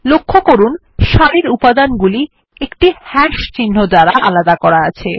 লক্ষ্য করুন সারির উপাদানগুলি একটি হাশ চিহ্ন দ্বারা আলাদা করা আছে